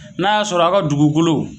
N'a y'a sɔrɔ aw ka dugukolo